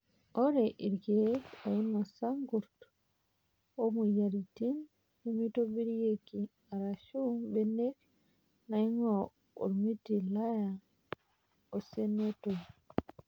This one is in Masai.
Ore irkiek oinosa irkurt omoyiaritin nemeitobirieki arashu mbenek naing'ua ormiti laya osenetoi.